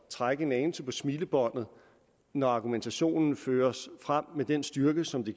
trække en anelse på smilebåndet når argumentationen føres frem med den styrke som